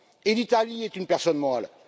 Et l'Italie est une personne morale.